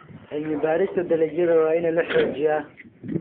Cilmi baarista dalagyada waa in la xoojiyaa.